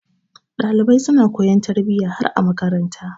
Ɗalibai suna koyon tarbiyya har a makaranta.